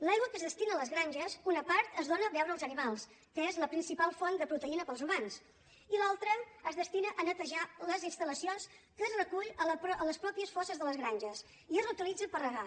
l’aigua que es destina a les granges una part es dóna a beure als animals que és la principal font de proteïna per als humans i l’altra es destina a netejar les instal·lacions que es recull a les pròpies fosses de les granges i es reutilitza per regar